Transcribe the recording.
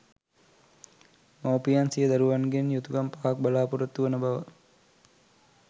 මවුපියන් සිය දරුවන්ගෙන් යුතුකම් පහක් බලාපොරොත්තු වන බව